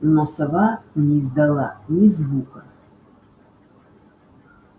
но сова не издала ни звука